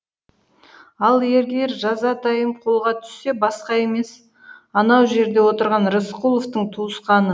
ал егер жазатайым қолға түссе басқа емес анау жерде отырған рысқұловтың туысқаны